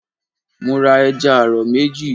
Mo ra ẹja àrọ̀ méjì.